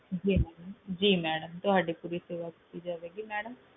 ਜੀ ਮੈਡਮ ਤੁਹਾਡੀ ਪੂਰੀ ਸੇਵਾ ਕੀਤੀ ਜਾਵੇਗੀ ਮੈਡਮ